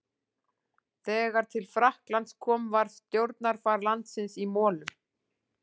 Þegar til Frakklands kom var stjórnarfar landsins í molum.